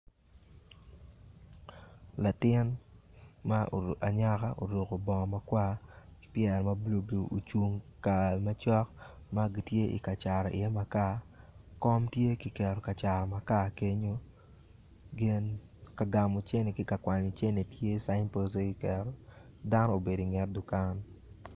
Latin Mo ma tye ocung I tend bar tye ocung cook ki ka ma ktye ka cato iye makar kom tye kenyu. Dano obedo I net dukan.